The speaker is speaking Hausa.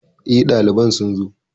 Eh, ɗaliban sun zo